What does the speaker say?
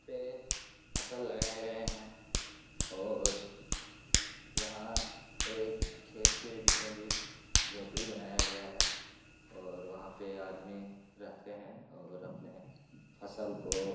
पे फसल लगाये गए है और यहाँ एक खेत के बीचो-बिच झोपड़ी बनाया गया है और वहां पे आदमी रहते है और अपने फसल को --